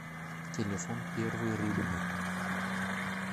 телефон первый рыбный